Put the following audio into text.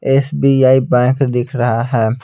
SBI bank दिख रहा है।